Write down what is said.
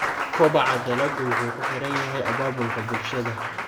Kobaca dalaggu wuxuu ku xiran yahay abaabulka bulshada.